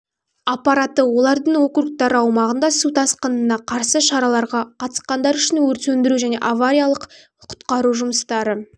аппараты олардың округтары аумағында су тасқынына қарсы шараларға қатысқандары үшін өрт сөндіру және авариялық-құтқару жұмыстары